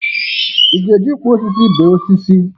Ị ga-eji nkwọ osisi bee osisi?